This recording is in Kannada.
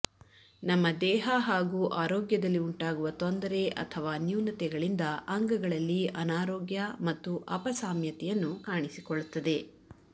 ನಮ್ಮ ದೇಹ ಹಾಗೂ ಆರೋಗ್ಯದಲ್ಲಿ ಉಂಟಾಗುವ ತೊಂದರೆ ಅಥವಾ ನ್ಯೂನತೆಗಳಿಂದ ಅಂಗಗಳಲ್ಲಿ ಅನಾರೋಗ್ಯ ಮತ್ತು ಅಪಸಾಮ್ಯತೆಯನ್ನು ಕಾಣಿಸಕೊಳ್ಳುತ್ತದೆ